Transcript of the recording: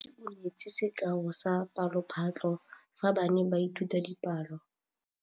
Moithuti o neetse sekaô sa palophatlo fa ba ne ba ithuta dipalo.